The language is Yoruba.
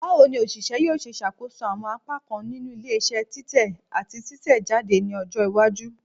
Bawo ni oṣiṣẹ yoo ṣe ṣakoso awọn apakan ninu ile-iṣẹ titẹ ati titẹjade ni ọjọ iwaju?